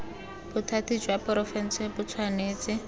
bothati jwa porofense bo tshwanetse